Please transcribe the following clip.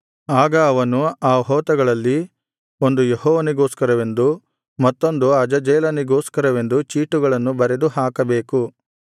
ಆಗ ಅವನು ಆ ಹೋತಗಳಲ್ಲಿ ಒಂದು ಯೆಹೋವನಿಗೋಸ್ಕರವೆಂದು ಮತ್ತೊಂದು ಅಜಾಜೇಲನಿಗೋಸ್ಕರವೆಂದು ಚೀಟುಗಳನ್ನು ಬರೆದು ಹಾಕಬೇಕು